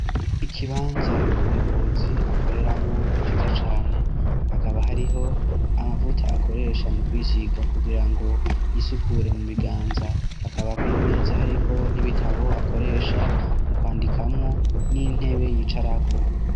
ikibanza umuyobozi akoreramwo ciza cane hakaba hariho amavuta akoresha mu kwisiga kugira ngo yisukure mu biganza akaba kwiyo meza ariko n'ibitabo akoresha mu kwandikamo n'intebe yicaraku